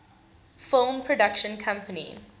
film production company